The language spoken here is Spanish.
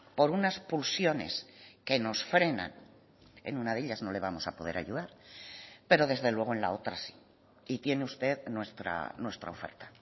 por unas pulsiones que nos frenan en una de ellas no le vamos a poder ayudar pero desde luego en la otra sí y tiene usted nuestra oferta